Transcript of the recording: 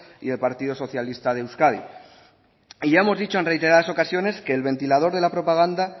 y el partido socialista de euskadi y ya hemos dicho en reiteradas ocasiones que el ventilador de la propaganda